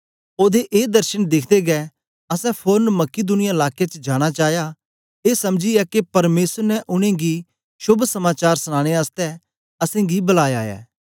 ओदे ए दर्शन दिखदे गै असैं फोरन मकिदुनिया लाके च जाना चाया ए समझीयै के परमेसर ने उनेंगी शोभ समाचार सनाने आसतै असेंगी बलाया ऐ